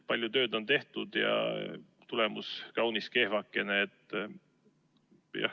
Palju tööd on tehtud, aga tulemus on kaunis kehvakene.